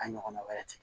A ɲɔgɔnna wɛrɛ ti